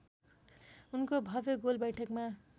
उनको भव्य गोलबैठकमा